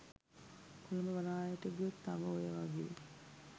කොළඹ වරායට ගියොත් තව ඔය වගේ